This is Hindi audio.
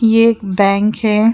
ये एक बैंक है।